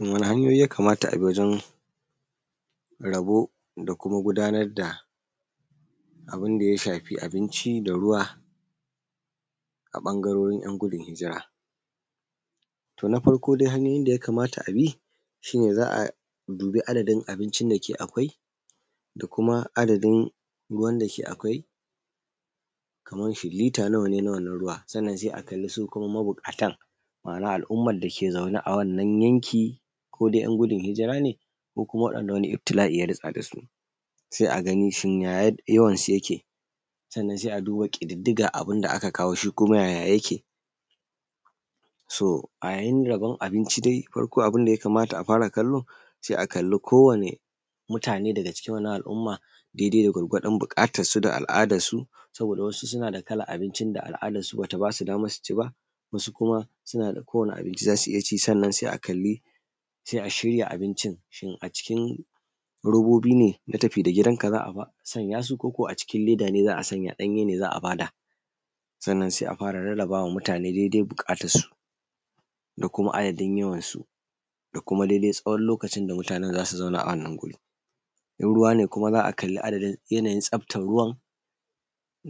wani hanyoyi ya kamata abi gurin rabo da kuma gudanar da abunda ya shafi abinci da ruwa a bangarori yan gudun hijira to na farko dai hanyoyin da ya kamata abi shine za’a dubi adadadin abincin da ke akwai da kuma adadadin ruwan da ke akwai kaman shin lita nawa ne na ruwa sanan sai a kalli su kuma mubukatan ma’ana al umman dake zaune a wannan yankin ko dai yan gudun hijira ne ko kuma wanda wani iftila’i ya fada dasu sai a kalli shin ya yawan su yake sannan sai a duba kididdigan shikuma abunda aka kawo shi kuma ya yawanshi yayake so a yayin rabon abinci dai abubuwan da yakamata a fara kallo sai a kalli ko wani mutane daga cikin wannan al umma dai dai da yanayin bukatan su da al adan su saboda sunada abincin da al’adan su bata basu daman suci ba su kuma suna da kowani abinci zasu iyya ci sa’anan sai kalli aje a shirya abincin a cikin robobi ne na tafi da gidan ka zaa sa koko a cikin leda ne ko danye ne za’a bada sannan sai a fara rarrabama mutane dai dai bukatan su da kuma dai dai yawan su da kuma tsawon lokacin da mutanen zasu zauna a gurin in ruwa ne kuma za’a kalli yanayin tsaftan ruwan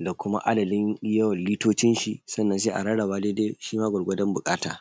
da kuma adadin yawan litocinshi sannan sai a rarraba dai dai shima gwargwadon bukata